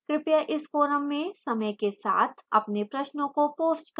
कृपया इस forum में समय के साथ अपने प्रश्नों को post करें